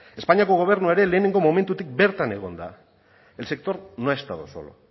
espainiako gobernua ere lehenengoan du bertan egon da el sector no ha estado solo